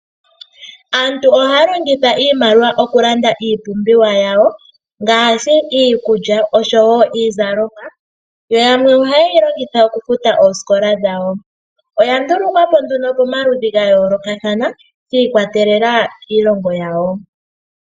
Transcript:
Aantu ohaya longitha iimaliwa okulanda iipumbiwa yawo ngaashi iikulya osho iizalomwa, yo yamwe ohaye yi longitha okufuta oosikola dhawo. Oya ndulukwapo nduno po maludhi ga yoolokathana shi ikwatelela kiilongo yawo.